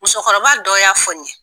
Musokɔrɔba dɔ y'a fɔ n ye.